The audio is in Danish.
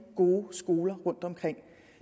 gode skoler rundtomkring